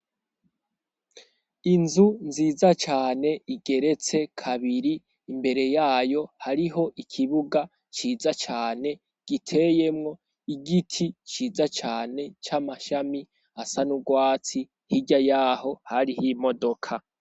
Inzu nziza cane, igeretse kabiri, imbere yayo hariho ikibuga ciza cane, giteyemwo igiti ciza cane c'amashami asa n'urwatsi, hirya y'aho hariho imodoka.